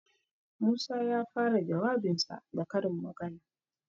Musa ya fara jawabinsa da karin magana.